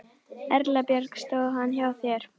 Erla Björg: Stóð hann hjá þér?